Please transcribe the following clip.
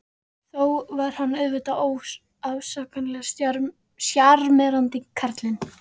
Þó var hann auðvitað óafsakanlega sjarmerandi, karlinn.